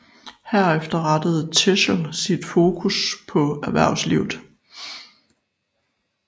Herefter rettede Teschl sit fokus på erhvervslivet